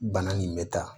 Bana nin bɛ taa